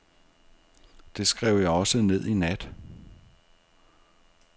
Det skrev jeg også ned i nat.